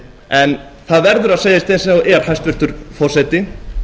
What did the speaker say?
en það verður að segjast eins og er hæstvirtur forseti